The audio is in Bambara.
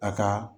A ka